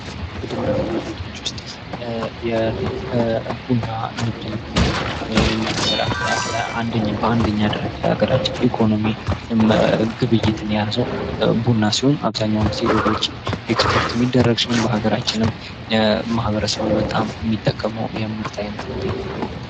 ከንግድና ግብይቶች ውስጥ የቡና ንግድን ብናይ የቡና ንግድ በኛ ሃገር በአንደኛ ደረጃ የሀገራችን ኢኮኖሚ ግብይትን የያዘው ቡና ሲሆን አብዛኛውን ጊዜ ወደ ውጭ ስፖርት የሚደረግ ሲሆን በሀገራችንም ማበረሰቡ በጣም የሚጠቀመው የምርት አይነት ነው።